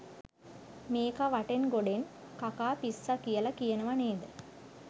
මේකා වටෙන් ගොඩෙන් කකා පිස්සා කියලා කියනව නේද?